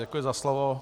Děkuji za slovo.